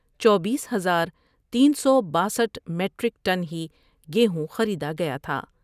چوبیس ہزار تین سو باسٹھ میٹریک ٹن ہی گیہوں خریدا گیا تھا ۔